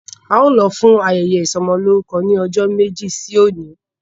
Ao lo fún ayẹyẹ isomoloruko ní ọjọ méjì sí oní